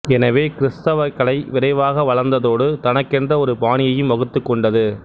எனவே கிறித்தவக் கலை விரைவாக வளர்ந்ததோடு தனக்கென்று ஒரு பாணியையும் வகுத்துக்கொண்டது